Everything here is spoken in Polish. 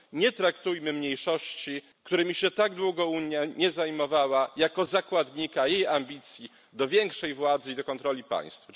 Nie traktujmy mniejszości, którymi się tak długo Unia nie zajmowała, jako zakładnika jej ambicji do większej władzy i do kontroli państw.